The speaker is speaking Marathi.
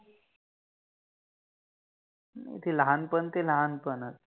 ते लहानपण ते लहानपण च